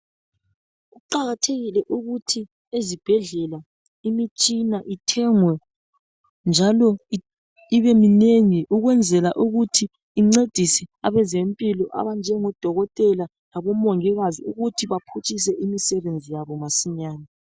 kuqakathekile ukuthi ezibhedlela imitshina ithengwe njalo ibe minengi ukwenzela ukuthi incedise abezempilo abanjengo dokotela labo mongikazi ukuthi baphutshise imisebenzi yabo masinyane